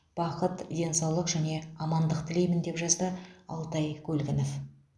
бақыт денсаулық және амандық тілеимін деп жазды алтай көлгінов